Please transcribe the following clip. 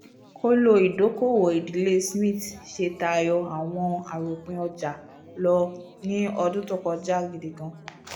kòló ìdòko-òwò ìdílé smiths ṣe tayọ awọn aropin ọja lọ ni ọdun to kọja gidigan